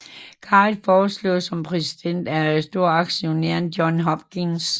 Garrett foreslået som præsident af storaktionæren Johns Hopkins